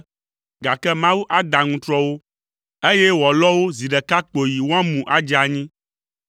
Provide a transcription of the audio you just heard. gake Mawu ada aŋutrɔ wo eye wòalɔ wo zi ɖeka kpoyi woamu adze anyi.